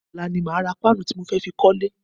Ọ̀la ni màá ra páànù tí mo fẹ́ fi kọ́lẹ́.